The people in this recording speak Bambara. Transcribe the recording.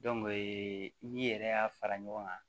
n'i yɛrɛ y'a fara ɲɔgɔn kan